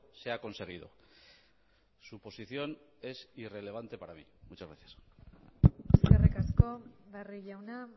se ha conseguido su posición es irrelevante para mí muchas gracias eskerrik asko barrio jauna